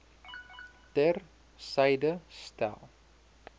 ter syde stel